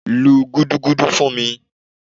lú gúdúgúdú fún mí!